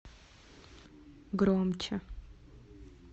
громче